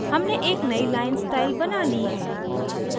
हमने एक नयी line स्टाइल बना we है